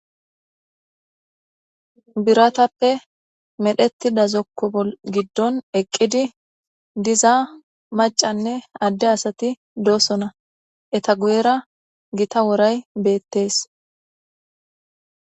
biratappe medhetida zokko giddon eqqidi diza macanne adde asati doosona eta guyera gita woray beettees